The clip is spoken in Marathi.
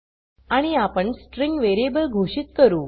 आणि आपण स्ट्रिँग वेरीयेबल घोषित करू